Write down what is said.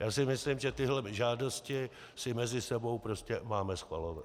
Já si myslím, že tyhle žádosti si mezi sebou prostě máme schvalovat.